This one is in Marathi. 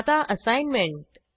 आता असाईनमेंट